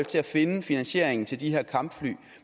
til at finde finansieringen til de her kampfly